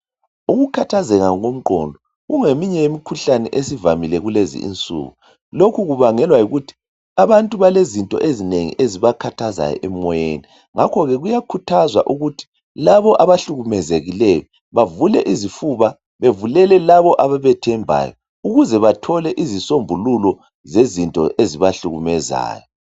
Ukukhathazeka komqondo kungeminye yemikhuhlane esivamile kulezi insuku lokhu kubangelwa yikuthi abantu balezinto ezinengi ezibakhathazayo emoyeni ngakho ke kuyakhuthazwa ukuthi labo abahlukumezekileyo bavule izifuba bevulele labo abebethembayo ukuze bathole izisombululo zezinto ezibahlukumezayo.